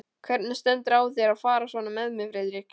Hvernig stendur á þér að fara svona með mig, Friðrik?